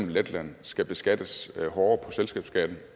letland skal beskattes hårdere på selskabsskatten